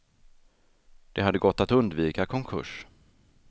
Det hade gått att undvika konkurs.